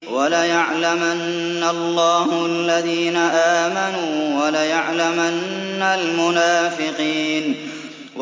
وَلَيَعْلَمَنَّ اللَّهُ الَّذِينَ آمَنُوا وَلَيَعْلَمَنَّ الْمُنَافِقِينَ